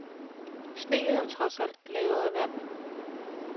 Sne er jo trods alt lavet af vand.